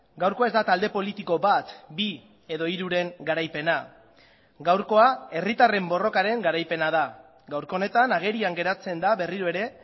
gaurkoa ez da talde politiko bat bi edo hiruren garaipena gaurkoa herritarren borrokaren garaipena da gaurko honetan agerian geratzen da berriro ere